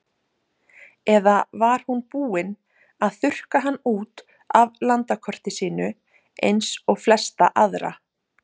Eða var hún búin að þurrka hann út af landakortinu sínu eins og flesta aðra?